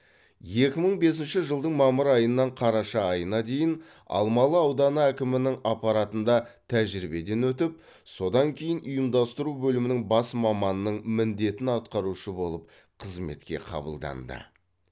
екі мың бесінші жылдың мамыр айынан қараша айына дейін алмалы ауданы әкімінің аппаратында тәжірибеден өтіп содан кейін ұйымдастыру бөлімінің бас маманының міндетін атқарушы болып қызметке қабылданды